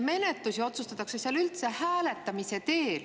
Menetlusi otsustatakse seal üldse hääletamise teel.